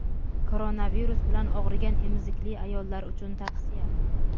Koronavirus bilan og‘rigan emizikli ayollar uchun tavsiya.